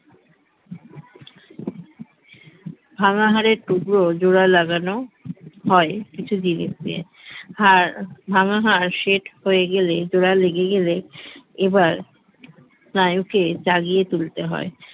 ভাঙা হাড়ের টুকরো জোড়া লাগানো হয় কিছু জিনিস দিয়ে হাড় ভাঙ্গা হাড় set হয়ে গেলে জোড়া লেগে গেলে এবার স্নায়ুকে জাগিয়ে তুলতে হয়